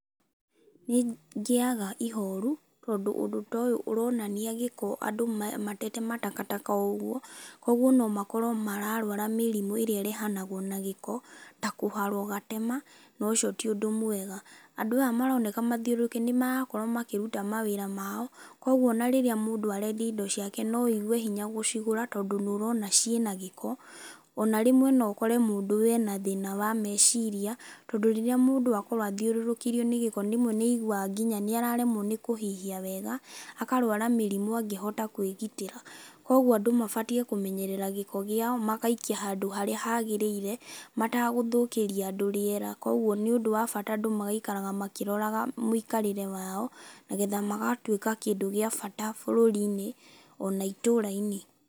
Nĩ ngĩaga ihoru, tondũ ũndũ ta ũyũ ũronania gĩko andũ matete matakataka o ũguo. Kũguo no makorwo mararũara mĩrimũ ĩrĩa ĩrehanagwo na gĩko, ta kũharwo gatema, na ũcio ti ũndũ mwega. Andũ aya maroneka mathiũrũrũkĩte, nĩ marakorwo makĩruta mawĩra mao, kũguo ona rĩrĩa mũndũ arendia indo ciake no wĩigue hinya gũcigũra, tondũ nĩ ũrona ciĩna gĩko. Ona rĩmwe no ũkore mũndũ we ena thĩna wa meciria, tondũ rĩrĩa mũndũ akorwo athiũrũrũkĩirio nĩ gĩko, rĩmwe nĩ aiguaga nginya nĩ araremwo nĩ kũhihia wega, akarũara mĩrimũ angĩhota kũĩgitĩra. Kũguo andũ mabatiĩ kũmenyerera gĩko gĩao, magaikia handũ harĩa hagĩrĩire, matagũthũkĩria andũ rĩera. Koguo nĩ ũndũ wa bata andũ magaikaraga makĩroraga mũikarĩre wao, nagetha magatuĩka kĩndũ gĩa bata bũrũri-inĩ, ona itũũra-inĩ.